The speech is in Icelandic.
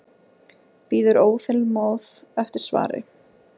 Bíður óþolinmóð eftir svari.